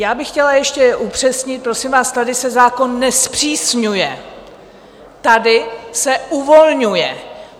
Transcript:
Já bych chtěla ještě upřesnit: prosím vás, tady se zákon nezpřísňuje, tady se uvolňuje!